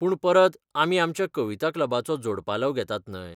पूण परत, आमी आमच्या कविता क्लबाचो जोडपालव घेतात न्हय.